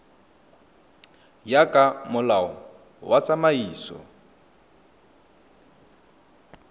ya ka molao wa tsamaiso